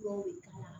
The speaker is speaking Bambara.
Dɔw bɛ ka